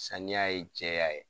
Saniya ye jɛya ye.